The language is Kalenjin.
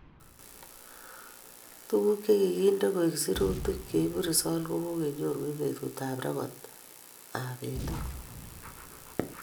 Tukuk chikiki nde koek sirutik chebu results kokenyoru eng bukut ab rekods ab betut.